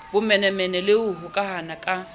bomenemene le ho hokahana ka